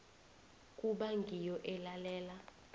kuba ngiyo elalela